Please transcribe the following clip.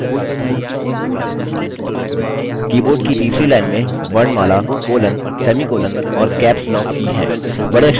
keyboard की तीसरी line में वर्णमाला colon semicolon और caps lock की हैं